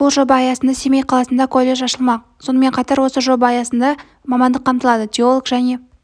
бұл жоба аясында семей қаласында колледж ашылмақ сонымен қатар осы жоба аясында мамандық қамтылады теолог және